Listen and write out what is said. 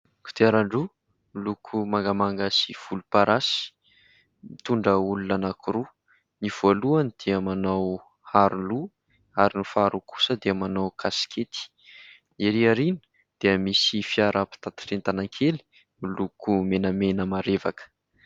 Kodiaran-droa miloko mangamanga sy volom-parasy mitondra olona anakiroa, ny voalohany dia manao aro-loha ary ny faharoa kosa dia manao kasikety. Ery aoriana dia misy fiaram-pitateran'entana kely miloko menamena marevaka.